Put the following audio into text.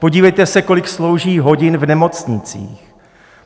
Podívejte se, kolik slouží hodin v nemocnicích.